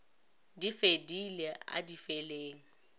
di fedile a di feleng